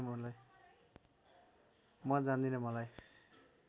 म जान्दिन मलाई